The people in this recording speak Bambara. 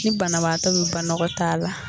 Ni banabaatɔ bɛ banakɔɔtaa la